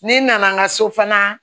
Ne nana n ka so fana